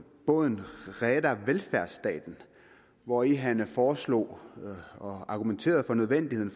rädda välfärdsstaten hvori han foreslog og argumenterede for nødvendigheden